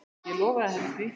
Ég lofaði henni því.